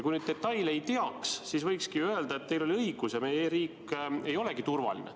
Kui detaile ei teaks, siis võikski öelda, et teil oli õigus ja meie e-riik ei olegi turvaline.